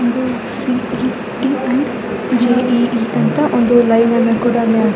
ಇದು C E T and J E _E ಅಂತ ಒಂದು ಲೈನನ್ನು ಕೂಡ ಅಲ್ಲಿ ಆಕಿದಾರೆ.